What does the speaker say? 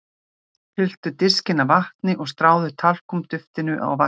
Fylltu diskinn af vatni og stráðu talkúm-duftinu á vatnsyfirborðið.